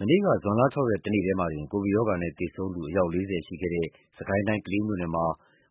မနေ့ကဇွန်လ ၆ ရက်တနေ့တည်းမှာတင် ကိုဗစ်ရောဂါနဲ့သေဆုံးသူ အယောက် ၄၀ ရှိခဲ့တဲ့ စစ်ကိုင်းတိုင်း ကလေးမြို့နယ်မှာ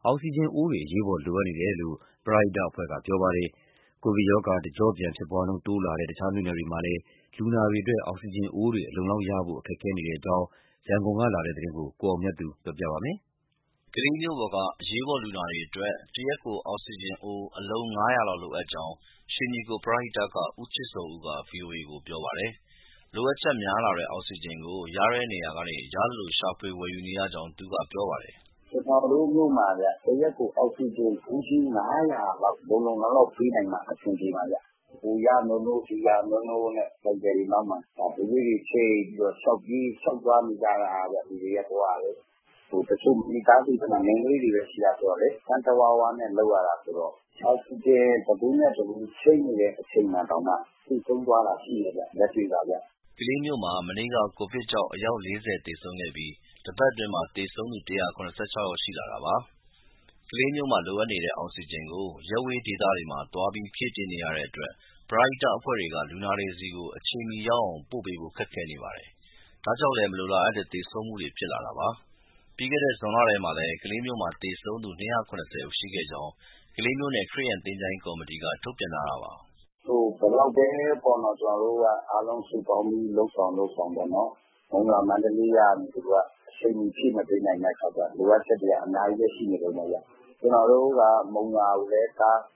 အောက်စီဂျင်အိုးတွေ အရေးပေါ် လိုအပ်နေတယ်လို့ ပရဟိတအဖွဲ့က ပြောပါတယ်။ ကိုဗစ်ရောဂါ တကြော့ပြန်ဖြစ်ပွားနှုန်း တိုးလာတဲ့ တခြားမြို့နယ်တွေမှာလည်း လူနာတွေအတွက် အောက်စီဂျင်အိုးတွေ အလုံအလောက်ရဖို့ ခက်ခဲနေတဲ့အကြောင်း ရန်ကုန်က ပေးပို့လာတဲ့သတင်းကို ကိုအောင်မြတ်သူ ပြောပြပါမယ်။ ကလေးမြို့ပေါ်က အရေးပေါ်လူနာတွေအတွက် တရက်ကိုအောက်စီဂျင်အိုး အလုံး ၅၀၀ လောက်လိုအပ်ကြောင်း ရွှေညီကိုပရဟိတက ဦးချစ်ဇော်ဦးက ဗွီအိုအေကို ပြောပါတယ်။ လိုအပ်ချက်များလာတဲ့ အောက်စီဂျင်ကို ရတဲ့နေရာက ရသလိုရှာဖွေဝယ်ယူနေရကြောင်း သူကပြောပါတယ်။ “ ကျနော်တို့မြို့မှာ တရက်ကို အောက်စီဂျင်ဗူးကြီး ၅၀၀ လောက် လုံလုံလောက်လောက်ပေးနိုင်မှ အဆင်ပြေမှာဗျ။ ဟိုရနိုးနိုး ဒီရနိုးနိုးနဲ့ ဆိုင်ကယ်တွေနောက်မှာ ဘူးလေးတွေချိတ်ပြီးတော့ လျှောက်ပြေး၊ လျှောက်သွားနေကြတာဗျ လူတွေရဲ့ဘဝက။ တချို့မိသားစုထဲမှာ မိန်းကလေးတွေပဲ ရှိတာဆိုတော့ စမ်းတဝါးဝါးနဲ့ အောက်စီဂျင် တဗူးနဲ့တဗူး ချိန်းနေတဲ့ အချိန်မှာတောင်မှ သေဆုံးသွားတာရှိတယ်၊ လက်တွေ့ပါဗျ။” ကလေးမြို့မှာ မနေ့က ကိုဗစ်ကြောင့် အယောက် ၄၀ သေဆုံးခဲ့ပြီး တပတ်အတွင်းမှာ သေဆုံးသူ အယောက် ၁၇၆ ယောက်ရှိလာတာပါ။ ကလေးမြို့မှာလိုနေတဲ့ အောက်စီဂျင်ကို ရပ်ဝေးဒေသတွေမှာ သွားပြီးဖြည့်တင်းရတဲ့အတွက် ပရဟိတအဖွဲ့တွေက လူနာတွေဆီကို အချိန်မီရောက်အောင် ပို့ပေးဖို့ ခက်ခဲနေပါတယ်။ ဒါကြောင့်လည်း မလိုလားအပ်တဲ့ သေဆုံးမှုတွေ ဖြစ်လာတာပါ။ ပြီးခဲ့တဲ့ ဇွန်လထဲမှာလည်း ကလေးမြို့မှာ သေဆုံးသူ ၂၇၀ ရှိခဲ့ကြောင်း ကလေးမြို့နယ် ခရစ်ယာန်သင်္ချိုင်းကော်မတီက ထုတ်ပြန်ထားတာပါ။ “ ဘယ်လောက်ပဲ ကျနော်တို့က အားလုံးစုပေါင်းပြီးတော့ လုပ်ဆောင်လုပ်ဆောင် မုံရွာ၊ မန္တလေးကနေ အချိန်မီဖြည့်မပေးနိုင်တဲ့ အခါကျတော့ လိုအပ်ချက်တွေက အများကြီး ရှိနေတုန်းပဲဗျ။ ကျနော်တို့က မုံရွာကိုပဲ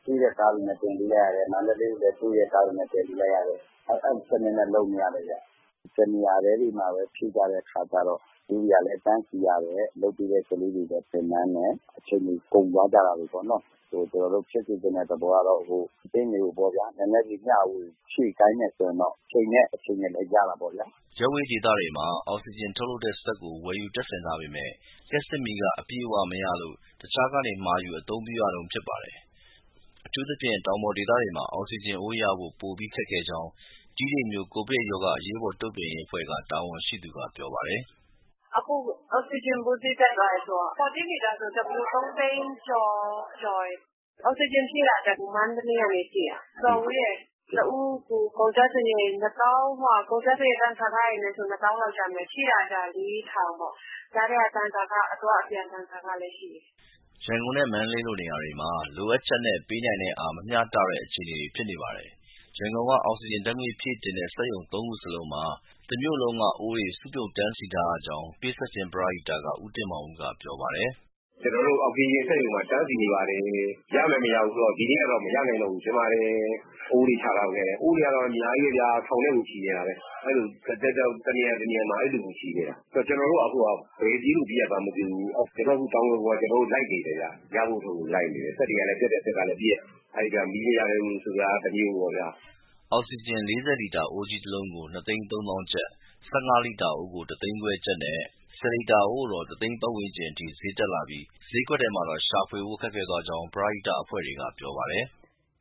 စီးတဲ့ကားတွေနဲ့ တင်ပေးလိုက်ရတယ်၊ မန္တလေးကိုလည်း စီးတဲ့ကားတွေနဲ့ တင်ပေးလိုက်ရတယ်၊ အဲဒီစနစ်နဲ့ လုပ်နေရတယ်ဗျ။ တနေရာတည်းတွေမှာပဲ ဖြည့်ကြတဲ့အခါကျတော့ ဗူးတွေကလည်း တန်းစီရတယ်၊ လုပ်ပေးတဲ့ ကလေးတွေလည်း ပင်ပန်းတယ်၊ အချိန်တွေ ကုန်သွားကြတာပေါ့နော်။ ကျနော်တို့ ဖြစ်စေချင်တဲ့ သဘောကတော့ အသင်းတွေကို နည်းနည်းစီမျှဝေ ဖြည့်ခိုင်းတယ်ဆိုရင်တော့ အချိန်နဲ့လည်း ရတာပေါ့ဗျာ။” ရပ်ဝေးဒေသတွေမှာ အောက်စီထုတ်လုပ်တဲ့စက်ကို ဝယ်ယူတပ်ဆင်ထားပေမဲ့ လျှပ်စစ်မီးက အပြည့်အဝမရလို့ တခြားကနေ မှာယူအသုံးပြုရတုန်း ဖြစ်ပါတယ်။ အထူးသဖြင့် တောင်ပေါ်ဒေသတွေမှာ အောက်စီဂျင်အိုးရဖို့ ပိုပြီခက်ခဲကြောင်း တီးတိန်မြို့ကိုဗစ်ရောဂါအရေးပေါ်တုံ့ပြန်ရေးအဖွဲ့ တာဝန်ရှိသူက ပြောပါတယ်။ “ အခုအောက်စီဂျင်ဗူး ဈေးတက်သွားတယ်ဆိုတော့ 40L တဗူးကို ၃သိန်းကျော်တယ်။ အောက်စီဂျင်ဖြည့်တာက မန္တလေးကနေ ဖြည့်တာ၊ တော်တော်ဝေးတယ်။ တအိုးကို ကုန်ကျစရိတ် တန်ဆာခတွေနဲ့ဆို ၂၀,၀၀၀ လောက်ကျမယ်။ ဖြည့်တာကျ ၄,၀၀၀ ပေါ့။ ကြားထဲက အသွားအပြန် တန်ဆာခလည်းရှိတယ်။” ရန်ကုန်နဲ့ မန္တလေးလိုနေရာတွေမှာ လိုအပ်ချက်နဲ့ ပေးနိုင်တဲ့အင်အား မမျှတဲ့အခြေအနေ ဖြစ်နေပါတယ်။ ရန်ကုန်က အောက်စီဂျင်ဓာတ်ငွေ့ ဖြည့်တင်းတဲ့ စက်ရုံသုံးခုစလုံးမှာ တမြို့လုံးက အိုးတွေစုပြုံတန်းစီထားရကြောင်း ပေးဆပ်ခြင်းပရဟိတက ဦးတင်မောင်ဦးကပြောပါတယ်။ “ ကျနော်တို့ အောက်စီဂျင်စက်ရုံမှာ တန်းစီနေပါတယ်။ ဒီနေ့ကတော့ မရနိုင်တော့ဘူး ထင်ပါတယ်။ အိုးတွေချထားခဲ့ရတယ် အိုးတွေက အများကြီးပဲဗျာ ထောင်နဲ့ကိုချီနေတာ။ တနေရာတနေရာမှာ အဲလိုချီနေတာ။ ကျနော်တို့အခုက ဘယ်ပြေးလို့ ပြေးရမှန်းမသိဘူး။ ကျနော်တို့ တောင်ဒဂုံမှာ အခုလိုက်နေတယ်၊ ရဖို့အတွက်လိုက်နေတယ်၊ စက်တွေက ပျက်တဲ့စက်ကပျက်၊ အဲကြားထဲ မီးတွေမမှန်တာ တမျိုးပေါ့ဗျာ။” အောက်စီဂျင် ၄၀လီတာ အိုးကြီးတလုံးကို ၂၃၀,၀၀၀ ကျပ်၊ ၁၅ လီတာအိုးကို ၁၅၀, ၀၀၀ ကျပ်နဲ့ ၁၀လီတာအိုးကတော့ ၁၀၀,၀၀၀ ကျပ်ဝန်းကျင်ထိ ဈေးတက်လာပြီး ဈေးကွက်ထဲမှာတော့ ရှာဝယ်ဖို့ခက်ခဲသွားကြောင်း ပရဟိတအဖွဲ့တွေက ပြောပါတယ်။